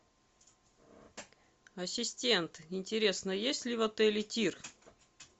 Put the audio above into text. ассистент интересно есть ли в отеле тир